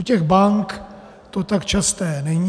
U těch bank to tak časté není.